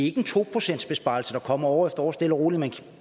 ikke en to procentsbesparelse der kommer år efter år stille og roligt